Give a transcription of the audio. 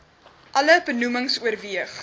alle benoemings oorweeg